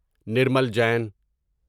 Nirmal Jain